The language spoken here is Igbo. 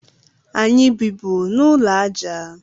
Anyị bịbụ n'ụlọ aja